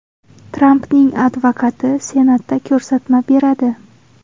Trampning advokati Senatda ko‘rsatma beradi.